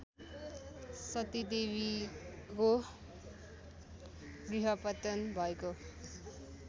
सतीदेवीको गुह्यपतन भएको